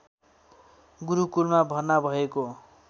गुरुकुलमा भर्ना भएको